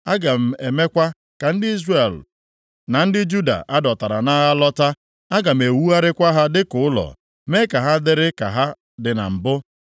Aga m emekwa ka ndị Izrel na ndị Juda a dọtara nʼagha lọta. Aga m ewugharịkwa ha dịka ụlọ, mee ka ha dịrị ka ha dị na mbụ.